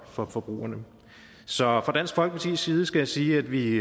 for forbrugerne så fra dansk folkepartis side skal jeg sige at vi